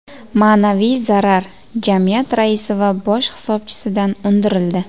Ma’naviy zarar jamiyat raisi va bosh hisobchisidan undirildi.